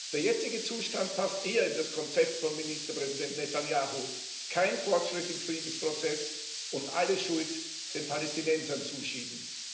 Der jetzige Zustand passt eher in das Konzept von Ministerpräsident Netanjahu kein Fortschritt im Friedensprozess und alle Schuld den Palästinensern zuschieben.